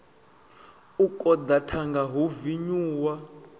u koḓa thanga hu vinyuwa